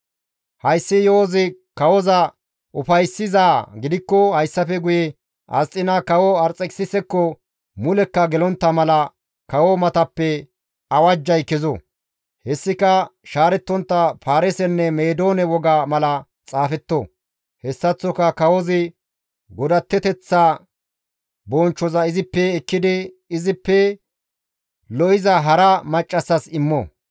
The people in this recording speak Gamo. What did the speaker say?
«Hayssi yo7ozi kawoza ufayssizaa gidikko hayssafe guye Asxiina kawo Arxekisisekko mulekka gelontta mala kawo matappe awajjay kezo; hessika shaarettontta Paarisenne Meedoone woga mala xaafetto; hessaththoka kawozi godatteteththa bonchchoza izippe ekkidi izippe lo7iza hara maccassas immo.